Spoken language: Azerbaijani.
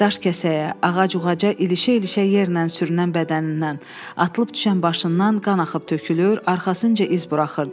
Daşkəsəyə, ağac-uca ilişə-ilişə yerlə sürünən bədənindən, atılıb düşən başından qan axıb tökülür, arxasınca iz buraxırdı.